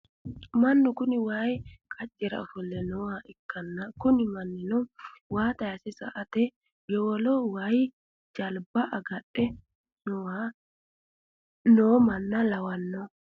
mannu kuni wayi qaccera ofolle nooha ikkanna, kuni mannino waa tayiise sa'ate yowolo woyi jalba agadhe noo manna lawannoho .